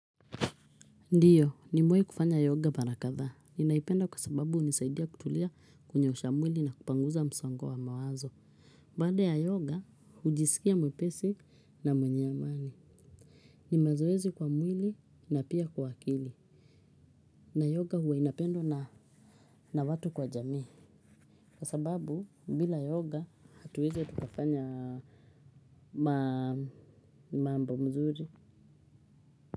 Ndiyo, nimewahi kufanya yoga mara kadhaa. Ninaipenda kwa sababu hunisaidia kutulia kunyoosha mwili na kupanguza msongo wa mawazo. Baada ya yoga, hujisikia mwepesi na mwenye amani. Ni mazoezi kwa mwili na pia kwa akili. Na yoga huwa inapendwa na watu kwa jamii. Kwa sababu, bila yoga, hatuwezi tukafanya mambo mzuri.